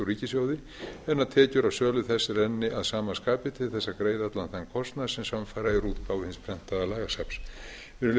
ríkissjóði en að tekjur af sölu þess renni að sama skapi til þess að greið allan kostnað sem samfara er útgáfu hins prentaða lagasafns virðulegi